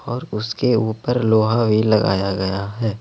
और उसके ऊपर लोहा भी लगाया गया है।